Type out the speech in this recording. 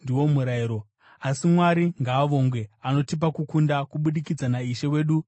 Asi Mwari ngaavongwe! Anotipa kukunda kubudikidza naIshe wedu Jesu Kristu.